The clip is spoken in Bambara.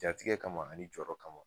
Jatigɛ kama ani jɔrɔ kama